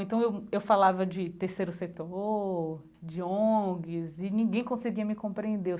Então eu eu falava de terceiro setor, de ONGs, e ninguém conseguia me compreender.